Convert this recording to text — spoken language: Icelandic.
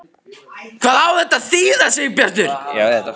HVAÐ Á ÞETTA AÐ ÞÝÐA, SIGURBJARTUR?